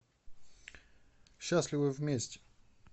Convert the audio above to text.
счастливы вместе